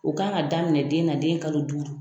O kan ka daminɛ den na den kalo duuru.